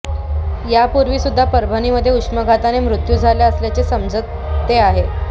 यापूर्वी सुद्धा परभणीमध्ये उष्माघाताने मृत्यू झाला असल्याचे समजते आहे